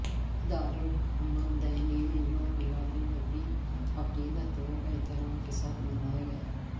دارالحکومت دہلی میں یوم میلاد النبی عقیدت و احترام کے ساتھ منایا گیا